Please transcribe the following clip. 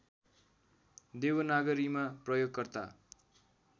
देवनागरीमा प्रयोगकर्ता